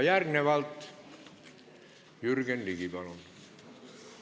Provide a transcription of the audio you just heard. Järgnevalt aga Jürgen Ligi, palun!